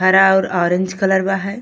हरा और orange colour बा है।